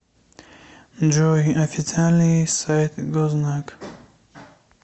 джой официальный сайт гознак